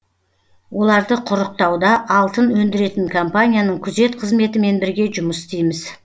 оларды құрықтауда алтын өндіретін компанияның күзет қызметімен бірге жұмыс істейміз